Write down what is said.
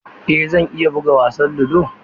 Eh zan iya buga wasan ludo.